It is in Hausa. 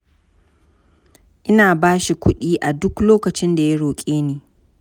Ina ba shi kuɗi a duk lokacin da ya roƙe ni.